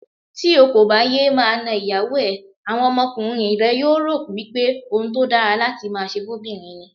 Tí o kòbà yéé máa na ìyàwó ẹ, àwọn ọmọkùnrin rẹ yóò rò wípé ohun tódára láti máaṣe fó'bìnrin ni.